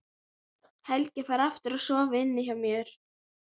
Helgi fær aftur að sofa inni hjá mér.